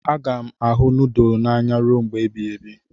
A ga-ahụ nudulu n'anya ruo mgbe ebighị ebi